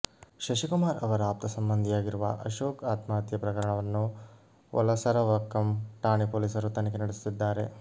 ಶಶಿಕುಮಾರ್ ಅವರ ಆಪ್ತ ಸಂಬಂಧಿಯಾಗಿರುವ ಅಶೋಕ್ ಆತ್ಮಹತ್ಯೆ ಪ್ರಕರಣವನ್ನು ವಲಸರವಕ್ಕಂ ಠಾಣೆ ಪೊಲೀಸರು ತನಿಖೆ ನಡೆಸುತ್ತಿದ್ದಾರೆ